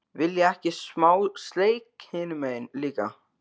VILJIÐI EKKI SMÁ SLEIK HINUM MEGIN LÍKA!